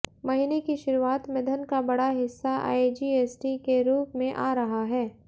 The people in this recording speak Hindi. महीने की शुरुआत में धन का बड़ा हिस्सा आईजीएसटी के रूप में आ रहा है